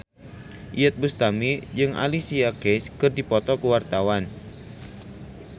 Iyeth Bustami jeung Alicia Keys keur dipoto ku wartawan